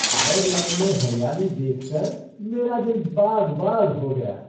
Ireland में हरियाली देख कर मेरा दिल बाग़ बाग़ हो गया।